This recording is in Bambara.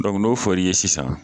n'o for'i ye sisan